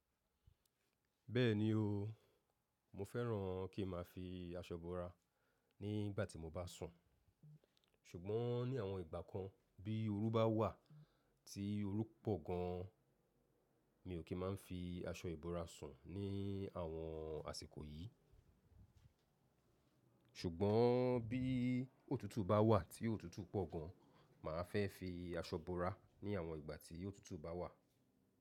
Bẹ́ẹ̀ni o, mo fẹ́ràn kí n máa fi aṣọ bora ní ìgbà tí mo bá sùn. Ṣùgbọ́n ní àwọn ìgbà kan bí oru bá wà tí oru pọ̀ gan an, mi ò kí máa ń fi aṣọ ìbora sùn ní àwọn àsìkò yìí. Ṣùgbọ́n bí òtútù bá wà tí òtútù pọ̀ gan an, mà á fẹ́ fi aṣọ búra ní àwọn ìgbà tí òtútù bá wà.